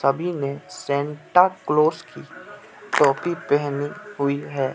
सभी ने Santa Claus की टोपी पहनी हुई है।